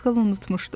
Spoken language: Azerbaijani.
Az qala unutmuşdum.